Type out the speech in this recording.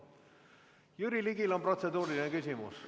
Jüri Ligil on protseduuriline küsimus.